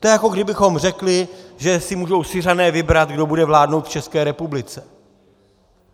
To je, jako kdybychom řekli, že si můžou Syřané vybrat, kdo bude vládnout v České republice.